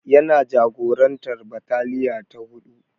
Yana jagorantar bataliya ta huɗu.